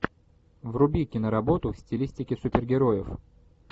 вруби киноработу в стилистике супергероев